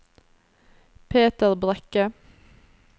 Peter Brekke